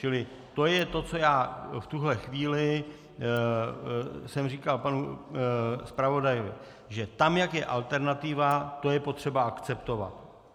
Čili to je to, co já v tuhle chvíli jsem říkal panu zpravodaji, že tam, jak je alternativa, to je potřeba akceptovat.